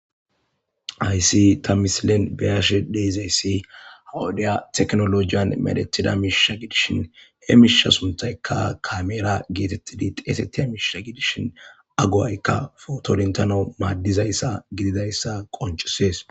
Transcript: hayssi ta misilen beyashe deezayssi hawudiya teknolojiyan medethida miisha gidishin he miisha sunthaykka kameera geetettidi xeesettida miishsha gidishin agowaykka fotodentano maaddizayssa gididayssa qoncusees